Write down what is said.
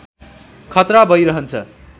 खतरा भई रहन्छ